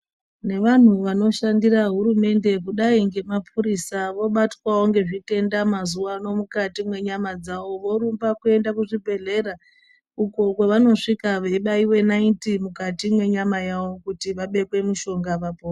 Nevanhu vanoshandira hurumende kudai ngemapurisa vobatwawo ngezvitenda mazuvano mukati mwenyama dzavo. Vorumba kuenda kuzvibhehlera uko kwevanosvika veibaiwe nayiti mukati mwenyama yavo kuti vabekwe mushonga vapo...